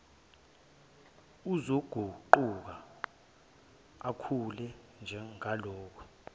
uzoguquka ukhule njangalo